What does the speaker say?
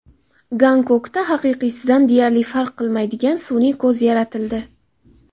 Gonkongda haqiqiysidan deyarli farq qilmaydigan sun’iy ko‘z yaratildi.